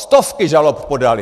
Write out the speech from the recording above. Stovky žalob podaly!